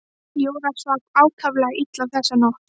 Jóra svaf ákaflega illa þessa nótt.